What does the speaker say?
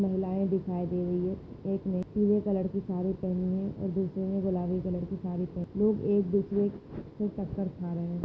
महिलाए दिखाई दे रही है एक ने पीले कलर की साड़ी पहनी है और दूसरे ने गुलाबी कलर की साड़ी पहनी लोग एक दूसरे से टक्कर खा रहे है।